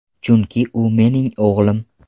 Chunki u mening o‘g‘lim.